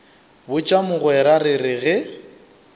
botša mogwera re re ge